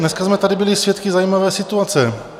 Dneska jsme tady byli svědky zajímavé situace.